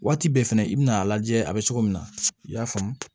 Waati bɛɛ fɛnɛ i bɛna a lajɛ a bɛ cogo min na i y'a faamu